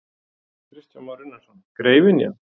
Kristján Már Unnarsson: Greifynja?